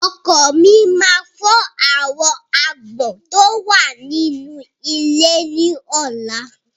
Ọkọ́ mi máa fọ́ àwọn agbọ́n tó wà nínú ilé ní ọ̀la.